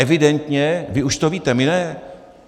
Evidentně vy už to víte, my ne.